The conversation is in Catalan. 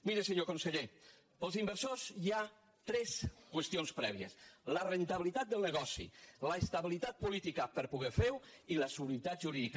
miri senyor conseller per als inversors hi ha tres qüestions prèvies la rendibilitat del negoci l’estabilitat política per poder fer ho i la seguretat jurídica